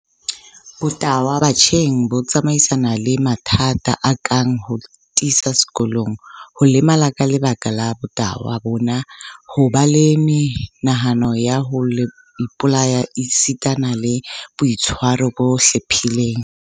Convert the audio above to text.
Botahwa batjheng bo tsamaisana le mathata a kang ho thisa sekolong, ho lemala ka lebaka la botahwa bona, ho ba le menahano ya ho ipolaya esitana le boitshwaro bo hlephileng.